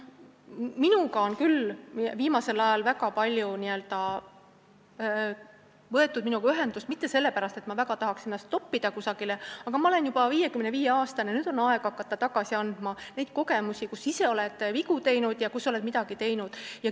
Minuga on küll viimasel ajal väga palju ühendust võetud, mitte sellepärast, et ma väga tahaks ennast kusagile toppida, aga ma olen juba 55-aastane, nüüd on aeg hakata rääkima oma kogemustest, sellest, kus sa ise oled vigu teinud ja kus oled midagi ära teinud.